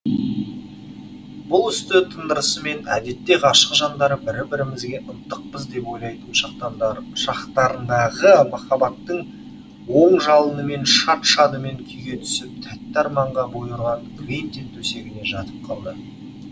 бұл істі тындырысымен әдетте ғашық жандар бірі бірімізге ынтықпыз деп ойлайтын шақтарындағы махаббаттың от жалынымен шат шадыман күйге түсіп тәтті арманға бой ұрған квентин төсегіне жатып қалды